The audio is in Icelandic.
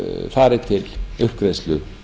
fari til uppgreiðslu